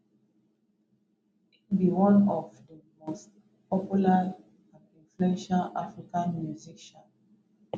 im be one of di most popular and influential african nusician